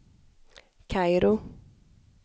Kairo